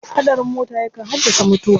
Haɗarin mota yakan haddasa mutuwa.